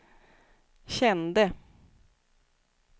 kände